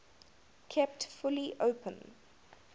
kept fully open